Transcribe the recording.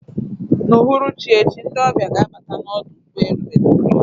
N'uhuruchi echi, ndị ọbịa ga-abata n'ọdụ ụgbọ elu Maiduguri